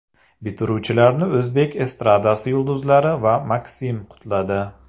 Bitiruvchilarni o‘zbek estradasi yulduzlari va MakSim qutladi .